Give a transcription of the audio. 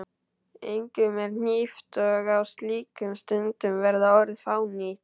Engum er hlíft og á slíkum stundum verða orð fánýt.